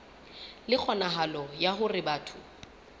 le kgonahalo ya hore batho